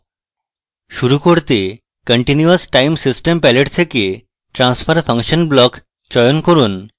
শুরু করতে continuous time system palette থেকে transfer function block চয়ন করব